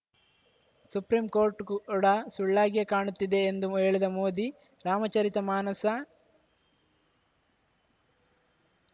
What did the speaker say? supreme court ಕೂಡ ಸುಳ್ಳಾಗಿಯೇ ಕಾಣುತ್ತಿದೆ ಎಂದು ಹೇಳಿದ ಮೋದಿ ರಾಮಚರಿತ ಮಾನಸ